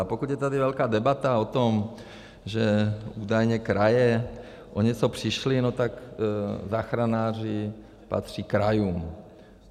A pokud je tady velká debata o tom, že údajně kraje o něco přišly, no tak záchranáři patří krajům.